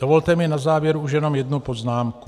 Dovolte mi na závěr už jenom jednu poznámku.